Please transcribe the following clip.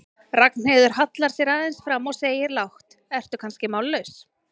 Ragnheiður hallar sér aðeins fram og segir lágt, ertu kannski mállaus?